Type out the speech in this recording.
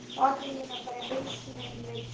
Og atvinna mín: að berja hausnum við steininn í